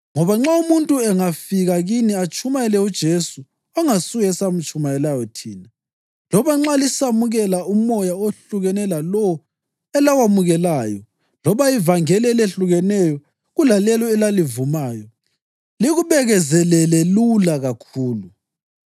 Ngoba nxa umuntu angafika kini atshumayele uJesu ongasuye esamtshumayelayo thina, loba nxa lisamukela umoya ohlukene lalowo elawamukelayo, loba ivangeli elehlukileyo kulelo elalivumayo, likubekezelele lula kakhulu.